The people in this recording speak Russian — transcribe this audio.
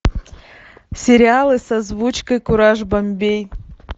сериалы с озвучкой кураж бомбей